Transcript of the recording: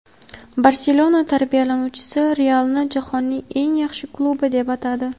"Barselona" tarbiyalanuvchisi "Real"ni jahonning eng yaxshi klubi deb atadi.